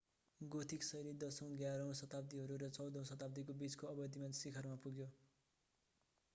Gothic शैली 10 औं - 11 औं शताब्दीहरू र 14 औं शताब्दीको बीचको अवधिमा शिखरमा पुग्यो